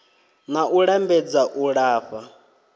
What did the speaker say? na u lambedza u lafha